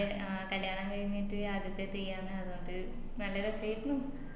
ആ കല്യാണം കഴിഞ്ഞിട്ട് ആദ്യത്തെ തെയ്യാന്ന് അത്കൊണ്ട് നല്ലരസായിരുന്നു